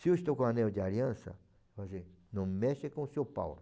Se eu estou com o anel de aliança, não mexe com o seu Paulo.